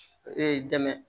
Ee dɛmɛ